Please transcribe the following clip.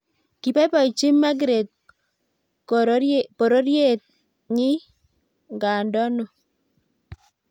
kipoipochin Margeret kororyet ny ngandonoo